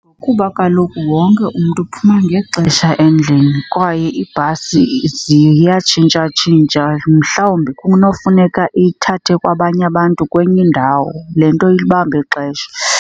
Kuba kaloku wonke umntu uphuma ngexesha endlini kwaye iibhasi ziyatshintshatshintsha. Mhlawumbi kunofuneka ithathe kwabanye abantu kwenye indawo, le nto ibamba ixesha.